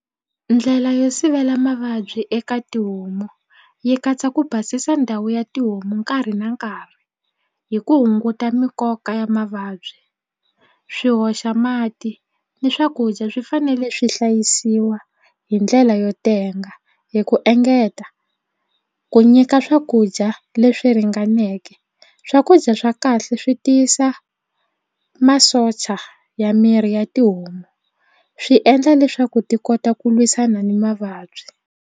Ndlela yo sivela mavabyi eka tihomu yi katsa ku basisa ndhawu ya tihomu nkarhi na nkarhi hi ku hunguta mikoka ya mavabyi swi hoxa mati ni swakudya swi fanele swi hlayisiwa hi ndlela yo tenga hi ku engeta ku nyika swakudya leswi ringaneke swakudya swa kahle swi tiyisa masocha ya miri ya tihomu swi endla leswaku ti kota ku lwisana ni mavabyi.